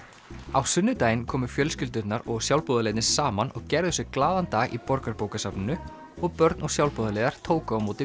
á sunnudaginn komu fjölskyldurnar og sjálfboðaliðarnir saman og gerðu sér glaðan dag í Borgarbókasafninu og börn og sjálfboðaliðar tóku á móti